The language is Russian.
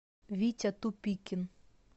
витя тупикин